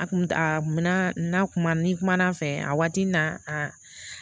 A kun a na kuma ni kuma fɛ a waati n'a a